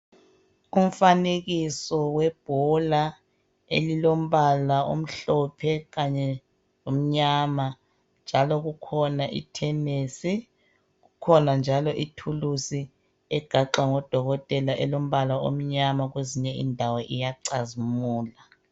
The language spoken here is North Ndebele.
Umfanekiso webhola elilombala omhlophe kanye lomnyama. Njalo kukhona itenesi ,kukhona njalo itulusi egaxwa ngodokotela elombala omnyama kwezinye indawo iyacazimula.